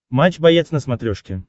матч боец на смотрешке